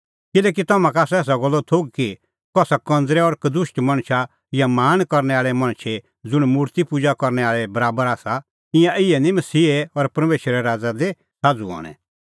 किल्हैकि तम्हां का आसा एसा गल्लो थोघ कि कसा कंज़रै और कदुष्ट मणछ या लाल़च़ी मणछे ज़ुंण मुर्ति पुजा करनै आल़ै बराबर आसा ईंयां इहै निं मसीहे और परमेशरे राज़ा दी साझ़ू हणैं